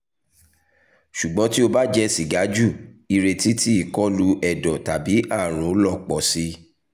ṣugbọn ti o ba jẹ siga ju ireti ti ikolu ẹdọ tabi aarun lọ pọ si